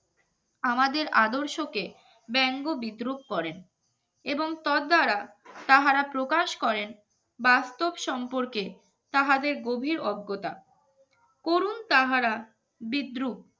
আমাদের আদর্শকে ব্যঙ্গ বিদ্রুপ করেন এবং তর দ্বারা তাহারা প্রকাশ করেন বাস্তব সম্পর্কে তাহাদের গভীর অজ্ঞতা করুন তাহারা বিদ্রুপ